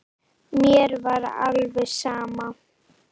Mér var alveg sama.